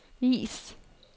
vis